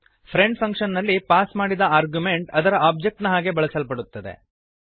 friend function ನಲ್ಲಿ pass ಮಾಡಿದ argument ಅದರ ಓಬ್ಜೆಕ್ಟ್ ನ ಹಾಗೆ ಬಳಸಲ್ಪಡುತ್ತದೆ